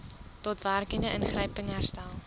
daadwerklike ingryping herstel